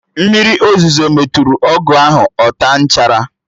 Mmiri ozuzo metụrụ ọgụ ahụ, ọ taa nchara